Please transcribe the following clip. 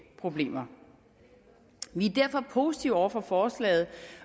problemer vi er derfor positive over for forslaget